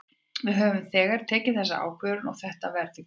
Við höfum þegar tekið þessa ákvörðun og þetta verður gert.